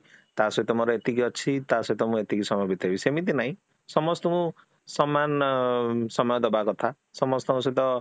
ତା ସହିତ ମୋର ଏତିକି ଅଛି ତା ସହିତ ମୁଁ ଏତିକି ସମୟ ବିତେଇବି ସେମିତି ନାହିଁ, ସମସ୍ତଙ୍କୁ ସମାନ ଅ ସମୟ ଦେବା କଥା ସମସ୍ତଙ୍କ ସହିତ